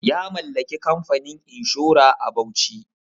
Ya mallaki kamfanin inshora a Bauchi.